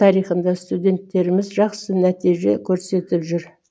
тарихында студенттеріміз жақсы нәтиже көрсетіп жүр